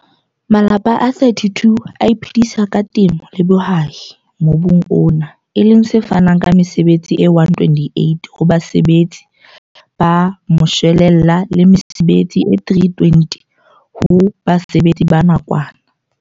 Malapa a 32 a iphedisa ka temo le bohwai mobung ona e leng se fanang ka mesebetsi e 128 ho basebetsi ba moshwelella le mesebetsi e 320 ho basebetsi ba nakwana.